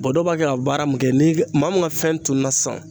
Bɔn dɔw b'a kɛ ka baara min kɛ ni ka maa min ka fɛn tununna sisan